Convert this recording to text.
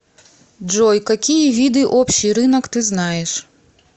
джой какие виды общий рынок ты знаешь